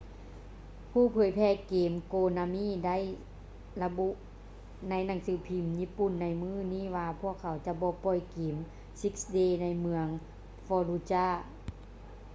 ຜູ້ເຜີຍແຜ່ເກມ konami ໄດ້ລະບຸໃນໜັງສືພິມຍີ່ປຸ່ນໃນມື້ນີ້ວ່າພວກເຂົາຈະບໍ່ປ່ອຍເກມ six days ໃນເມືອງ fallujah